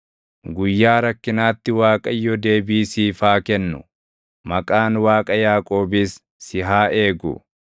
Guyyaa rakkinaatti Waaqayyo deebii siif haa kennu; maqaan Waaqa Yaaqoobis si haa eegu.